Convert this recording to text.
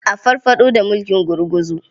A farfaɗo da mulkin gurguzu.